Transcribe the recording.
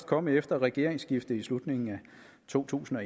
kommet efter regeringsskiftet i slutningen af to tusind og